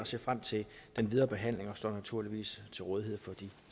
ser frem til den videre behandling og står naturligvis til rådighed for de